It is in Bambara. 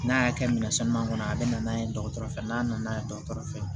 N'a y'a kɛ minɛn sanu kɔnɔ a bɛ na n'a ye dɔgɔtɔrɔ fɛ n'a nana ye dɔgɔtɔrɔ fɛ yen